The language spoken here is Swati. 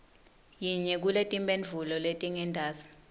yinye kuletimphendvulo letingentasi